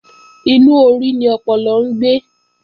Inú orí ni ọpọlọ ń gbé